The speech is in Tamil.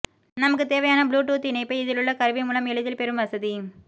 நமக்கு தேவையான ப்ளூடூத் இணைப்பை இதிலுள்ள கருவி மூலம் எளிதில் பெரும் வசதி